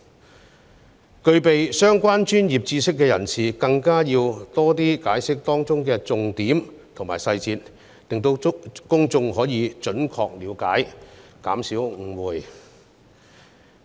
至於具備相關專業知識的人士，更應要多加解釋當中的重點及細節，令公眾可以準確理解條文內容，以減少誤會。